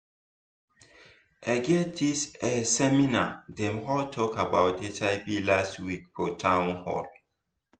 e get this eh seminar dem hold talk about hiv last week for town hall